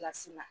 Kilasi la